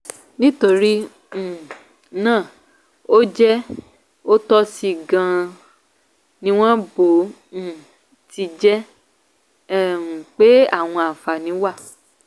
nítorí um náà ó jẹ òtòṣì gan-an níwọ̀n bó um ti jẹ́ um pé àwọn àǹfààní wà.